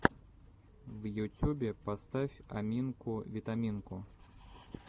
в ютюбе поставь аминку витаминку